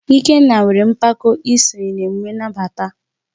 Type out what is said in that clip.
Ikenna nwere mpako isonye na emume nnabata.